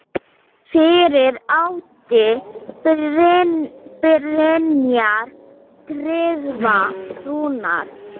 Fyrir átti Brynjar Tryggva Rúnar.